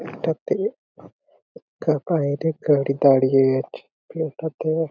এই টা তে একটা বাইরে গাড়ি দাঁড়িয়ে আছে এই টা তে--